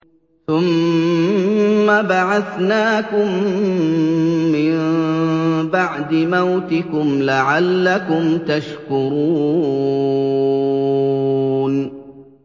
ثُمَّ بَعَثْنَاكُم مِّن بَعْدِ مَوْتِكُمْ لَعَلَّكُمْ تَشْكُرُونَ